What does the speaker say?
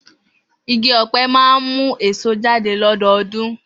Igi ọ̀pẹ máa ń mú èso jáde lọ́dọọdún.